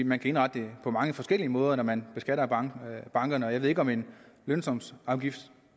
man kan indrette det på mange forskellige måder når man beskatter bankerne bankerne og jeg ved ikke om en lønsumsafgift